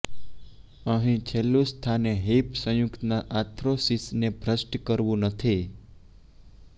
અહીં છેલ્લું સ્થાને હિપ સંયુક્તના આર્થ્રોસિસને ભ્રષ્ટ કરવું નથી